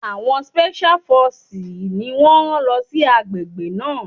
Àwọn spẹ́ṣíá fọsìsì ni wọ́n rán lọ sí àgbègbè náà.